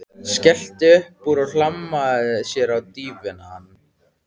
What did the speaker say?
Skellti upp úr og hlammaði sér á dívaninn.